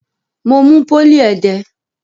Mo mú pólì ẹdẹ.